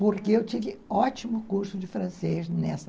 Porque eu tive ótimo curso de francês nessa.